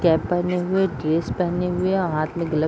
cap पहने हुए dress पहने हुए हाथ में ग्लव्स --